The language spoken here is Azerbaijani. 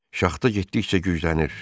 Şaxta getdikcə güclənir.